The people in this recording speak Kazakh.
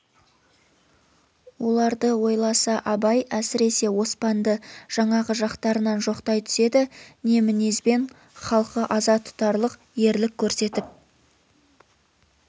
оларды ойласа абай әсіресе оспанды жаңағы жақтарынан жоқтай түседі не мінезбен халқы аза тұтарлық ерлік көрсетіп